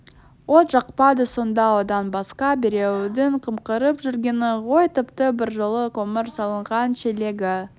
от жақпады сонда одан басқа біреудің қымқырып жүргені ғой тіпті бір жолы көмір салынған шелегі